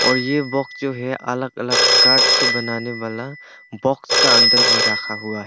ये बॉक्स जो है अलग अलग काट से बनाने वाला बॉक्स के अंदर में रखा हुआ हैं।